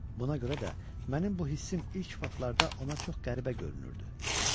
Buna görə də mənim bu hissim ilk vaxtlarda ona çox qəribə görünürdü.